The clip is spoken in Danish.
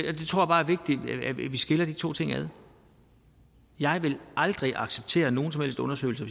er vigtigt at vi skiller de to ting ad jeg ville aldrig acceptere at nogen som helst undersøgelse